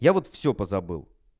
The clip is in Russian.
я вот всё позабыл